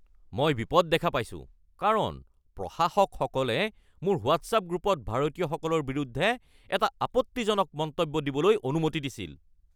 মই বিপদ দেখা পাইছোঁ কাৰণ প্ৰশাসকসকলে মোৰ হোৱাট্ছআপ গ্ৰুপত ভাৰতীয়সকলৰ বিৰুদ্ধে এটা আপত্তিজনক মন্তব্য দিবলৈ অনুমতি দিছিল। (ব্যক্তি ১)